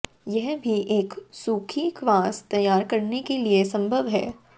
यह भी एक सूखी क्वास तैयार करने के लिए संभव है